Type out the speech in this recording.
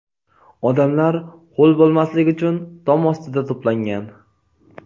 Odamlar ho‘l bo‘lmaslik uchun tom ostida to‘plangan.